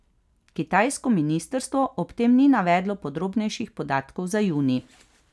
Kitajsko ministrstvo ob tem ni navedlo podrobnejših podatkov za junij.